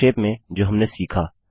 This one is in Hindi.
संक्षेप में जो हमने सीखा